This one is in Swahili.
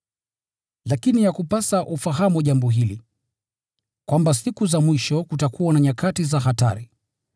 Lakini yakupasa ufahamu jambo hili, kwamba siku za mwisho kutakuwa na nyakati za hatari.